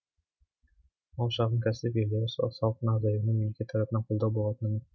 ал шағын кәсіп иелері салықтың азаюына мемлекет тарапынан қолдау болатыны